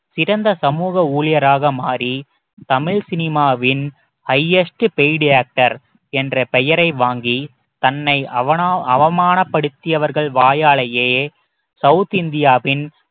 சிறந்த சமூக ஊழியராக மாறி தமிழ் சினிமாவின் highest paid actor என்ற பெயரை வாங்கி தன்னை அவனமா~அவமானப்படுத்தியவர்கள் வாயாலேயே south இந்தியாவின்